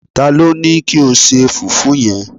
talo Ni kio se fufu yen